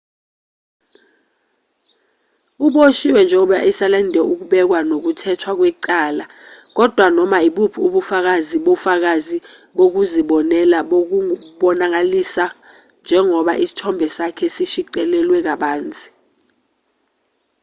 uboshiwe njengoba esalinde ukubekwa nokuthethwa kwecala kodwa noma ibuphi ubufakazi bofakazi bokuzibonela bungonakaliswa njengoba isithombe sakhe sishicilelwe kabanzi